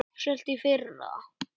Uppselt í fyrra!